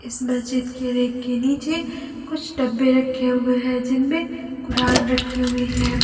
इस मस्जिद के रैक के नीचे कुछ डब्बे रखें हुए हैं जिनमें कुरान रखी हुई है।